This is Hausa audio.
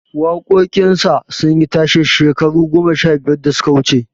Waƙoƙin sa sun yi tashe shekaru goma sha biyar da suka wuce